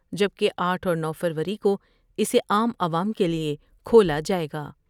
جبکہ آٹھ اور نو فروری کو اسے عام عوام کے لئے کھولا جائے گا ۔